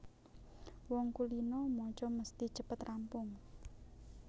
Wong kulina maca mesthi cepet rampung